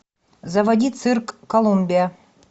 заводи цирк колумбия